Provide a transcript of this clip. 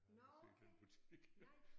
Jeg har aldrig set den butik